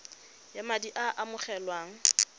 ya madi a a amogelwang